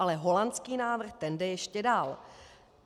Ale holandský návrh, ten jde ještě dál.